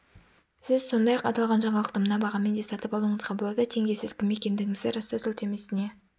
сіз сондай-ақ аталған жаңалықты мына бағамен де сатып алуыңызға болады тенге сіз кім екендігіңізді растау сілтемесіне